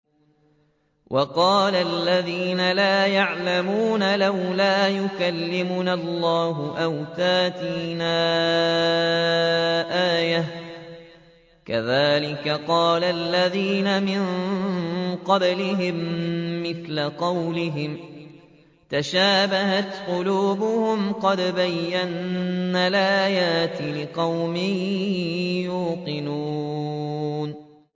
وَقَالَ الَّذِينَ لَا يَعْلَمُونَ لَوْلَا يُكَلِّمُنَا اللَّهُ أَوْ تَأْتِينَا آيَةٌ ۗ كَذَٰلِكَ قَالَ الَّذِينَ مِن قَبْلِهِم مِّثْلَ قَوْلِهِمْ ۘ تَشَابَهَتْ قُلُوبُهُمْ ۗ قَدْ بَيَّنَّا الْآيَاتِ لِقَوْمٍ يُوقِنُونَ